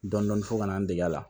Dɔndɔni fɔ ka na n dege la